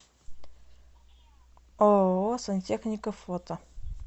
ооо сантехника фото